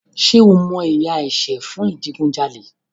Ṣé o mọ ìyà ẹ̀ṣẹ̀ fún ìdigunjalè?